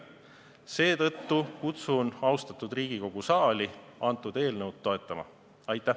Seetõttu kutsun austatud Riigikogu saali kõnealust eelnõu toetama!